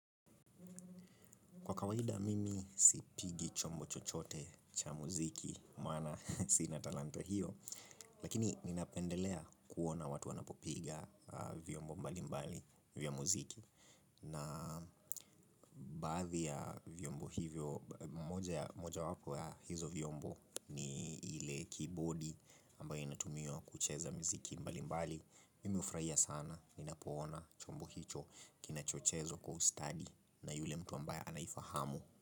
Kwa kawaida mimi sipigi chombo chochote cha muziki, maana sina talanta hiyo. Lakini ninapendelea kuona watu wanapopiga vyombo mbali mbali vya muziki. Na baadhi ya vyombo hivyo, moja wako ya hizo vyombo ni ile kibodi ambayo inatumiwa kucheza muziki mbali mbali. Mimi hufurahia sana ninapoona chombo hicho kinachochezwa kwa ustadi na yule mtu ambaye anaifahamu.